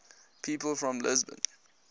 people from lisbon